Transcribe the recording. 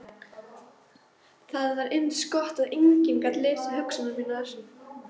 Það var eins gott að enginn gat lesið hugsanir mínar.